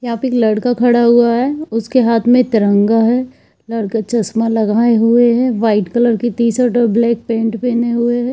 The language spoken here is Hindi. यहां पे एक लड़का खड़ा हुआ है उसके हाथ में तिरंगा है लड़का चश्मा लागये हुए हैं व्हाइट कलर की टी - शर्ट और ब्लैक पैंट पहने हुए है।